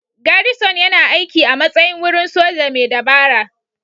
Garrison yana aiki a matsayin wurin soja mai dabara.